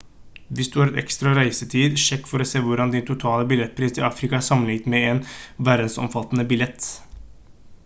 hvis du har ekstra reisetid sjekk for å se hvordan din totale billettpris til afrika er sammenlignet med en verdensomfattende billett